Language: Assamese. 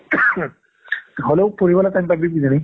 হ'লেও পঢ়িবলৈ time পাবি কিজানি